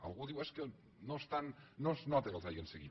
algú diu és que no es nota que els hagin seguit